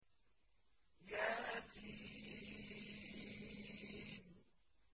يس